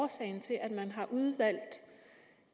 årsagen til at man har udvalgt